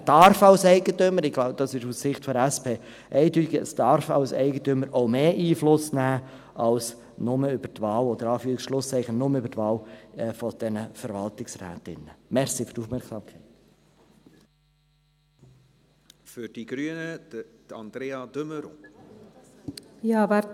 Er darf als Eigentümer – dies ist aus Sicht der SP eindeutig – auch mehr Einfluss nehmen als nur über die Wahl, in Anführungs- und Schlusszeichen, nur über die Wahl der Verwaltungsrätinnen und Verwaltungsräte.